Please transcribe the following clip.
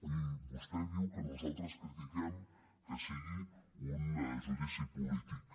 i vostè diu que nosaltres critiquem que sigui un judici polític